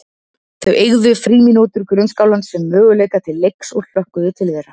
Þau eygðu frímínútur grunnskólans sem möguleika til leiks og hlökkuðu til þeirra.